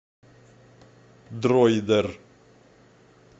дроидер